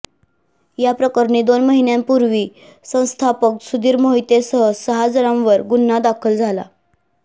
याप्रकरणी दोन महिन्यांपूर्वी संस्थापक सुधीर मोहितेसह सहा जणांवर गुन्हा दाखल झाला